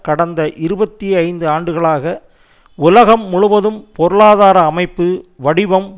கடந்த இருபத்தி ஐந்து ஆண்டுகளாக உலகம் முழுவதும் பொருளாதார அமைப்பு வடிவம்